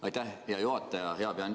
Aitäh, hea juhataja!